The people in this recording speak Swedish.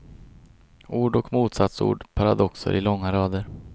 Ord och motsatsord, paradoxer i långa rader.